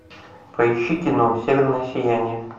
поищи кино северное сияние